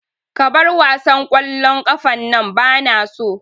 Ka bar wasan ƙwallon ƙafan nan bana so